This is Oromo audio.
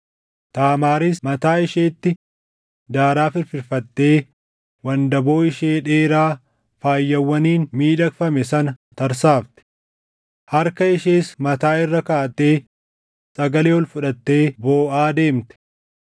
Taamaaris mataa isheetti daaraa firfirfattee wandaboo ishee dheeraa faayawwaniin miidhagfame sana tarsaafte. Harka ishees mataa irra kaaʼattee sagalee ol fudhattee booʼaa deemte.